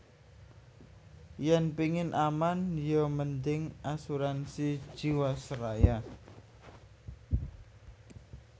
Yen pingin aman yo mending Asuransi Jiwasraya